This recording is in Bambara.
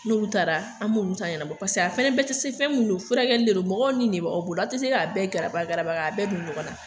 N'olu taara an m'olu ta ɲɛnabɔ paseke a fɛnɛ bɛɛ tɛ se, fɛn mun don furakɛli de don, mɔgɔw ni de b'aw bolo, a tɛ se k'a bɛɛ garaba garaba k'a bɛɛ don ɲɔgɔnna.